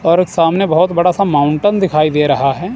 और सामने बहुत बड़ा सा माउंटन दिखाई दे रहा है।